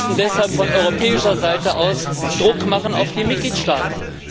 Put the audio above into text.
Wir müssen deshalb von europäischer Seite aus Druck machen auf die Mitgliedstaaten.